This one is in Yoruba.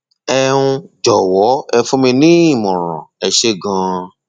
ẹ um jọwọ ẹ fún mi ní ìmọràn ẹ ṣeun ganan